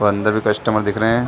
अंदर भी कस्टमर दिख रहै हैं।